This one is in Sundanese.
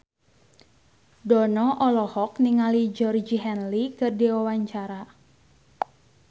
Dono olohok ningali Georgie Henley keur diwawancara